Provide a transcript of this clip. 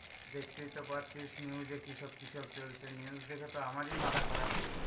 দেখতেই তো পাচ্ছিস news এ কিসব কিসব চলছে news দেখে তো আমারই মাথা খারাপ.